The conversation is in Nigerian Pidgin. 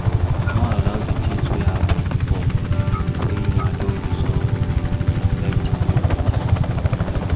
No allow di things wey happen before wey una don resolve, affect di new peace